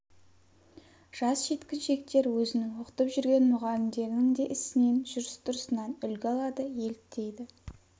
жас жеткіншектер өзін оқытып жүрген мұғалімдерінің де ісінен жүріс-тұрысынан үлгі алады еліктейді